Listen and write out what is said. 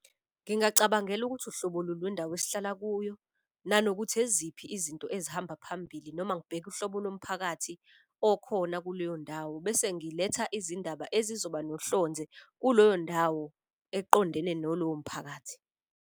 Ngingacabangela ukuthi uhlobo luni lwendawo esihlala kuyo nanokuthi eziphi izinto ezihamba phambili. Noma ngibheke uhlobo lomphakathi okhona kuleyondawo. Bese ngiletha izindaba ezizoba nohlonze kuloyo ndawo eqondene nolowo mphakathi.